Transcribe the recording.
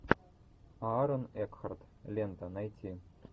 аарон экхарт лента найти